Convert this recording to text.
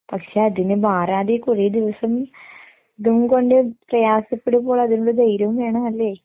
പക്ഷെ അതിന് മാറാതെ കുറേ ദിവസം ഇത് കൊണ്ട് പ്രയാസപ്പെടുമ്പോൾ അതിനുള്ള ധൈര്യവും വേണം അല്ലേ?